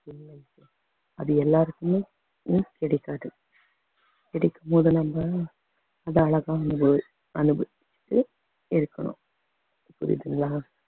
அது எல்லாருக்குமே ~மே கிடைக்காது கிடைக்கும் போது நம்ம அது அழகானது அனுபவிச்சு இருக்கணும் புரியுதுங்களா